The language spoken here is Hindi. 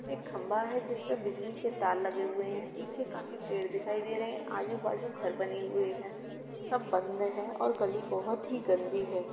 एक खंभा है जिसपे बिजली के तार लगे हुए हैं पीछे काफी पेड़ दिखाई दे रहे हैं आजू बाजू घर बने हुए हैं सब बंद है और गली बहुत ही गंदी है।